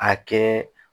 A kɛ